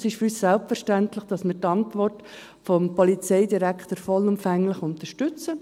Es ist für uns selbstverständlich, dass wir die Antwort des Polizeidirektors vollumfänglich unterstützen.